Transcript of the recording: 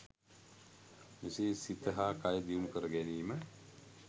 මෙසේ සිත හා කය දියුණු කර ගැනීම